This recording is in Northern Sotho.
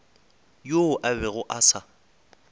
yoo a bego a sa